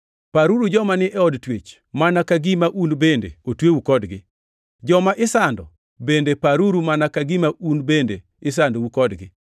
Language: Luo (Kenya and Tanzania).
Paruru joma ni e od twech mana ka gima un bende otweu kodgi. Joma isando bende paruru mana ka gima un bende isandou kodgi.